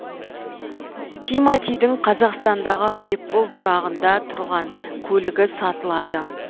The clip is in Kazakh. тиматидің қазақстандағы айыппұл тұрағында тұрған көлігі сатылады